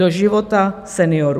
Do života seniorů.